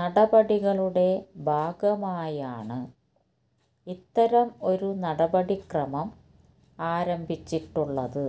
നടപടികളുടെ ഭാഗമായാണ് ഇത്തരം ഒരു നടപടി ക്രമം ആരംഭിച്ചിട്ടുള്ളത്